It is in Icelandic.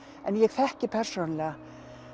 en ég þekki persónulega